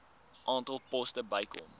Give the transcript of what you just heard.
aantal poste bykomend